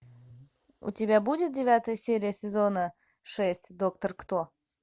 у тебя будет девятая серия сезона шесть доктор кто